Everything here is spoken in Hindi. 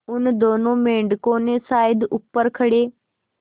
उन दोनों मेढकों ने शायद ऊपर खड़े